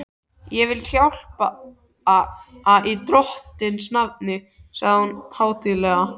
Ég vil hjálpa í Drottins nafni sagði hún hátíðlega.